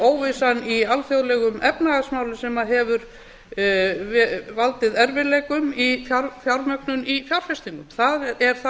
óvissan í alþjóðlegum efnahagsmálum sem hefur valdið erfiðleikum í fjármögnun í fjárfestingum það er það sem